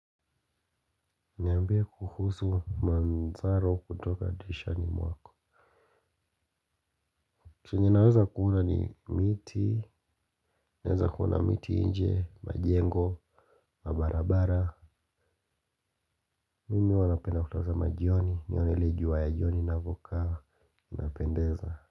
Niambie kuhusu manzaro kutoka dirishani mwako. Chenye ninaweza kula ni miti. Naweza kuona miti nje, majengo, mabarabara. Mimi huwa napenda kutazama jioni, nione ile jua ya jioni inavyokaa inapendeza.